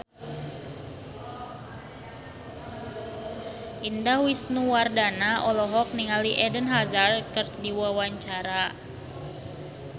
Indah Wisnuwardana olohok ningali Eden Hazard keur diwawancara